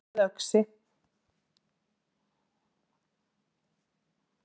Menn með öxi